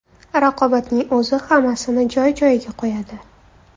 Raqobatning o‘zi hammasini joy-joyiga qo‘yadi.